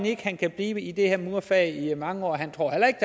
ikke han kan blive i det her murerfag i mange år han tror heller ikke